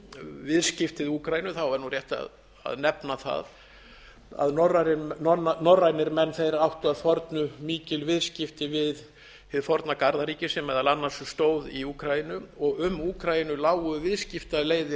viðskipti við úkraínu er nú rétt að nefna það að norrænir menn áttu að fornu mikil viðskipti við hið forna garðaríki sem meðal annars stóð ú úkraínu og um úkraínu lágu viðskiptaleiðir